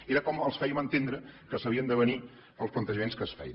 era com els fèiem entendre que s’havien d’avenir als plantejaments que es feien